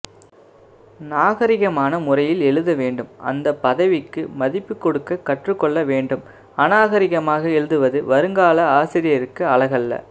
நாகரிகமான முறையில் எழுத வேண்டும் அந்த பதவிக்கு மதிப்புக்கொடுக்க கற்று கொள்ள வேண்டும் அநாகரிகமாக எழுதுவது வருங்கால ஆசிரியருக்கு அழகல்ல